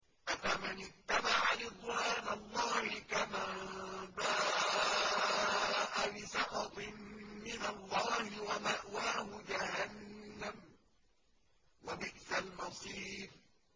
أَفَمَنِ اتَّبَعَ رِضْوَانَ اللَّهِ كَمَن بَاءَ بِسَخَطٍ مِّنَ اللَّهِ وَمَأْوَاهُ جَهَنَّمُ ۚ وَبِئْسَ الْمَصِيرُ